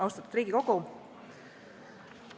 Austatud Riigikogu!